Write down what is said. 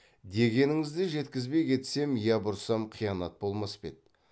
дегеніңізді жеткізбей кетсем я бұрсам қиянат болмас па еді